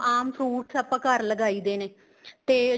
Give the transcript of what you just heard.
ਆਮ fruits ਆਪਾਂ ਘਰ ਲਗਾਈ ਦੇ ਨੇ ਤੇ